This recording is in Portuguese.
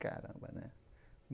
Caramba, né?